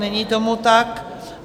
Není tomu tak.